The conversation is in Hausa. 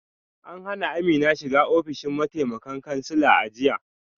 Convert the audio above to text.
An hana Amina shiga ofishin mataimakan kansila a jiya